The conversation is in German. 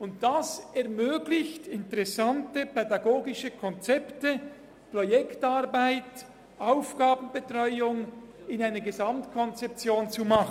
Dies ermöglicht es, interessante pädagogische Konzepte, Projektarbeit oder Aufgabenbetreuung in einer Gesamtkonzeption zu machen.